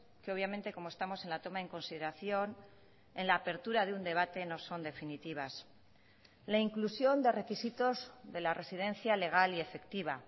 que obviamente como estamos en la toma en consideración en la apertura de un debate no son definitivas la inclusión de requisitos de la residencia legal y efectiva